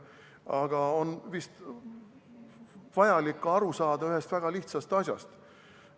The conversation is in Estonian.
Aga on vaja aru saada ka ühest väga lihtsast asjast.